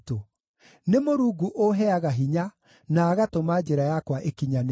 Nĩ Mũrungu ũũheaga hinya na agatũma njĩra yakwa ĩkinyanĩre.